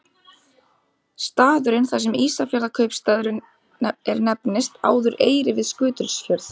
Staðurinn þar sem Ísafjarðarkaupstaður er nefndist áður Eyri við Skutulsfjörð.